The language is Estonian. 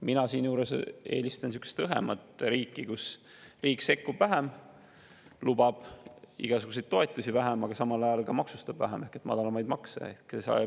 Mina eelistan sihukest õhemat riiki: riik sekkub vähem, lubab igasuguseid toetusi vähem, aga samal ajal ka maksustab vähem ehk kehtestab madalamaid makse.